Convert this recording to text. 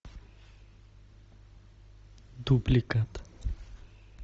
дубликат